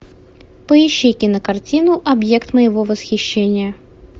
поищи кинокартину объект моего восхищения